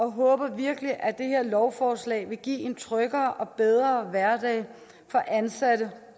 håber virkelig at det her lovforslag vil give en tryggere og bedre hverdag for ansatte